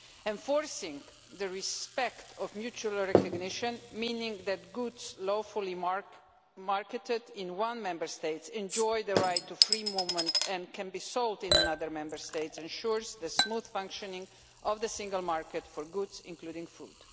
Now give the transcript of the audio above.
Enforcing respect of mutual recognition meaning that goods lawfully marketed in one Member State enjoy the right to free movement and can be sold in another Member State ensures the smooth functioning of the single market for goods, including food.